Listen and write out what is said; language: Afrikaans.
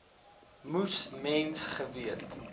moes mens geweet